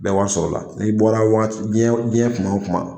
Bɛɛ wari sɔrɔ o la n'i bɔra diɲɛ kuma o kuma